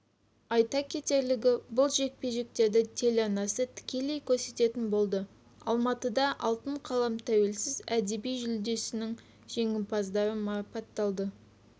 айта кетерлігі бұл жекпе-жектерді телеарнасы тікелей көрсететін болады алматыда алтын қалам тәуелсіз әдеби жүлдесінің жеңімпаздары марапатталды